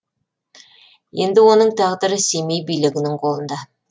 енді оның тағдыры семей билігінің қолында